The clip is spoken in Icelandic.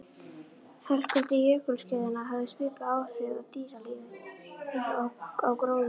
Helkuldi jökulskeiðanna hafði svipuð áhrif á dýralífið og á gróðurinn.